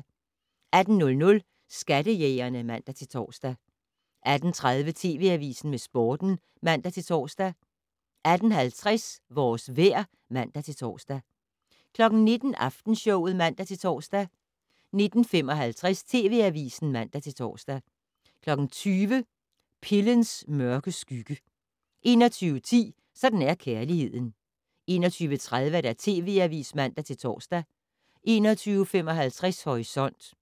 18:00: Skattejægerne (man-tor) 18:30: TV Avisen med Sporten (man-tor) 18:50: Vores vejr (man-tor) 19:00: Aftenshowet (man-tor) 19:55: TV Avisen (man-tor) 20:00: Pillens mørke skygge 21:10: Sådan er kærligheden 21:30: TV Avisen (man-tor) 21:55: Horisont